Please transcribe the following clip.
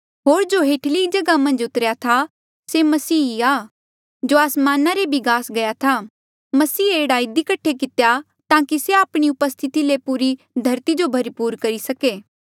होर जो हेठली जगहा मन्झ उतरेया था से मसीह ई आ जो आसमाना रे भी गास गया था मसीहे एह्ड़ा इधी कठे कितेया ताकि से आपणी उपस्थिति ले पूरी धरती जो भरपूर करी सके